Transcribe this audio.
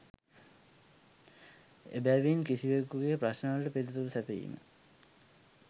එබැවින් කිසිවෙකුගේ ප්‍රශ්නවලට පිළිතුරු සැපයීම